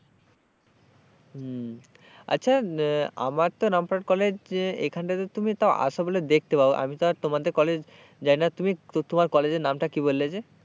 হম আচ্ছা আমার তো রামপুরহাট কলেজ এখান টা তে তুমি তাও আশো বলে দেখতে পারো আমি তো আর তোমাদের কলেজ যাই না তুমি তোমার কলেজের নামটা কি বললে যে,